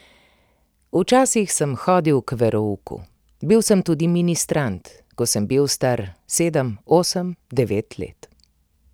Včasih sem hodil k verouku, bil sem tudi ministrant, ko sem bil star sedem, osem, devet let.